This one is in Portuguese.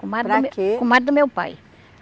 Comadre... Para quê? Comadre do meu pai.